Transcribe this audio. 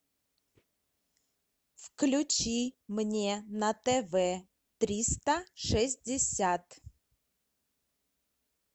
включи мне на тв триста шестьдесят